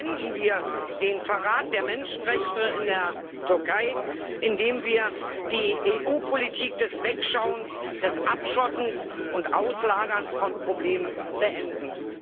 Beenden wir den Verrat der Menschenrechte in der Türkei, indem wir die EU Politik des Wegschauens, des Abschottens und Auslagerns von Problemen beenden!